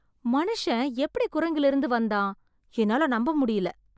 மனுஷன் எப்படி குரங்கிலிருந்து வந்தான்? என்னால நம்ப முடில‌